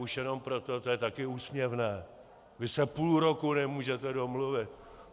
Už jenom proto - to je taky úsměvné - vy se půl roku nemůžete domluvit.